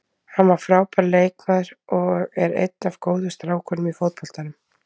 Hann var frábær leikmaður og er einn af góðu strákunum í fótboltanum.